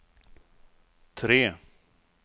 tre